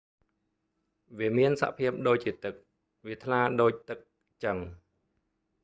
វាមានសភាពដូចជាទឹក វាថ្លាដូចទឹកចឹង